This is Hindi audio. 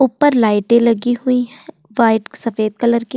ऊपर लाइटे लगी हुई हैं व्हाइट सफेद कलर की।